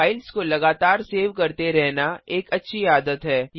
files को लगातार save करते रहना एक अच्छी आदत है